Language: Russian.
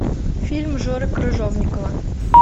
фильм жоры крыжовникова